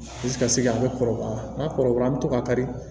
Dusukasi a bɛ kɔrɔbaya n'a kɔrɔbaya an bɛ to k'a kari